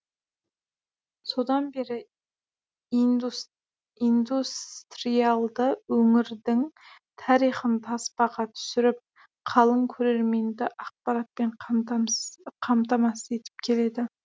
содан бері индустриалды өңірдің тарихын таспаға түсіріп қалың көрерменді ақпаратпен қамтамасыз етіп келеді